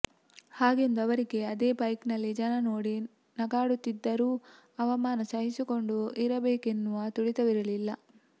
ಹಾಗೆಂದು ಅವರಿಗೆ ಅದೇ ಬೈಕ್ನಲ್ಲಿ ಜನ ನೋಡಿ ನಗಾಡುತ್ತಿದ್ದರೂ ಅವಮಾನ ಸಹಿಸಿಕೊಂಡು ಇರಬೇಕೆನ್ನುವ ತುಡಿತವಿರಲಿಲ್ಲ